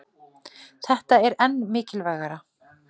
Þetta er enn mikilvægara